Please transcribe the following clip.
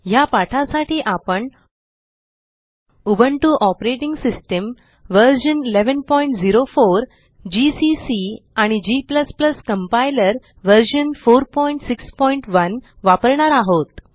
ह्या पाठासाठी आपण Ubuntu operating system version 1104 GCC आणि g कंपाइलर व्हर्शन 461 वापरणार आहोत